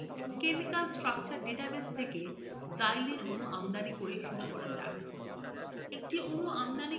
চলুন chemical structure database থেকে xylene অণু আমদানি করে শুরু করা যাক